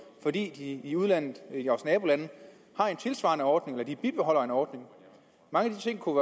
fordi de i udlandet i vores nabolande har en tilsvarende ordning eller de bibeholder en ordning mange af de ting kunne